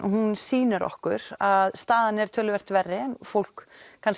hún sýnir okkur að staðan er töluvert verri en fólk